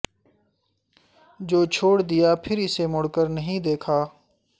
جو چھوڑ دیا پھر اسے مڑ کر نہیں دیکھا